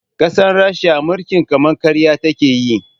Ƙasar rasha mulkin kama karya takeyi